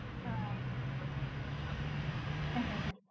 આહ હમ